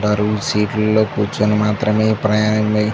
ఉంటారు ఈ సీట్లలో కూర్చుని మాత్రమే ప్రయాణం--